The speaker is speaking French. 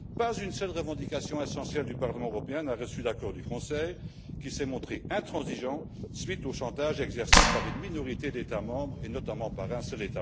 Pas une seule revendication essentielle du Parlement européen n'a reçu l'accord du Conseil, qui s'est montré intransigeant suite au chantage exercé par une minorité d'États membres, et notamment par un seul.